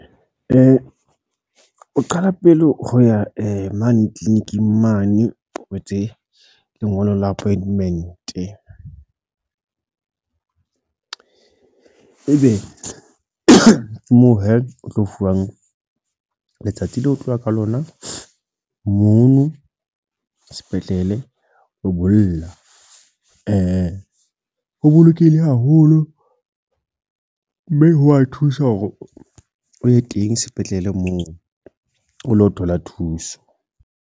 O qala pele ho ya mane clinic-ing mane, o etse lengolo la appointment. E be moo he, o tlo fuwang letsatsi leo o tloya ka lona mono sepetlele o bolla. Ho bolokehile haholo, mme ho wa thusa hore o ye teng sepetlele moo o lo thola thuso.